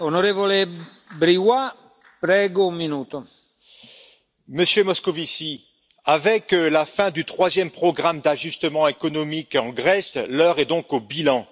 Monsieur le Président, Monsieur Moscovici, avec la fin du troisième programme d'ajustement économique en Grèce, l'heure est donc au bilan.